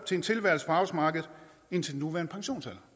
til en tilværelse på arbejdsmarkedet indtil den nuværende pensionsalder